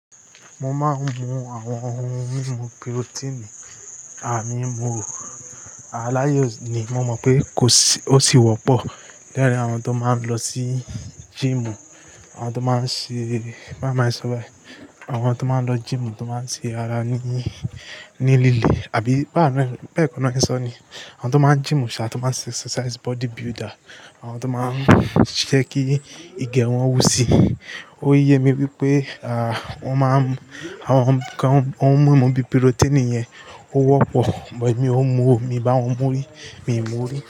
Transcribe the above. Mo máa ń mu àwọn oun mímu protein àmímú. Aláayè ni mo mọ̀ pé ó sì wọ́pọ̀ láàárín àwọn tó máa ń lọ sí gym, àwọn tó máa ń ṣe, bá mi rántí sọ́bàì, àwọn tó máa ń lọ gym tó máa ń ṣe ara ní, ní líle àbí bá kò ní sọ ni, àwọn tó máa ń gym ṣá, tó máa ń ṣe exercise body builder. Àwọn tó máa ń ṣe kí Ige wọn wù síi. Ó yẹ mí wípé, à, wọ́n máa ń, àwọn kan, oun mímu bíi protein yẹn ó wọ́pọ̀. Bọ̀ mí ò mú o, mi bá wọn mú rí, mi ò mú rí.